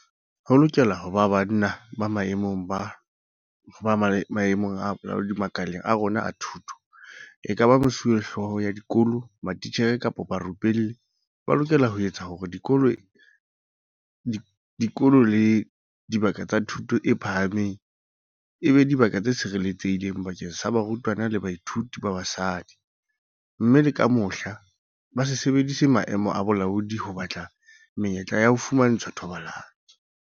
Ho lokela ho ba banna ba maemong a bolaodi makaleng a rona a thuto, ekaba mesuwehlooho ya dikolo, matitjhere kapa barupelli, ba lokelang ho etsa hore dikolo le dibaka tsa thuto e phahameng e be dibaka tse sireletsehileng bakeng sa barutwana le bathuiti ba basadi, mme le ka mohla, ba se sebedise maemo a bolaodi ho batla menyetla ya ho fumantshwa thobalano.